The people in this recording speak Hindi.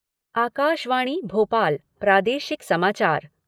आकाशवाणी भोपाल प्रादेशिक समाचार